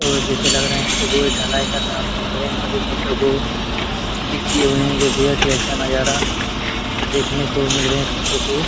और जैसे लग रहा है यहाँ पे कोई ढलाई का काम चल रहा है। सभी फोटो को क्लिक कियें हुए हैं जो बेहद ही अच्छा नज़ारा देखने को मिल रहें हैं फोटो की।